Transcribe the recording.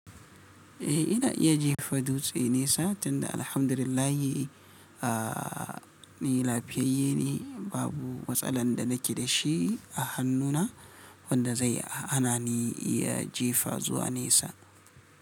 Eh ina iya jefa dutse nesa tunda alhamdulillahi, a ni lafiyayye ne, babu matsalan da nake da shi a hannuna wanda zai hana ni iya jefa zuwa nesa.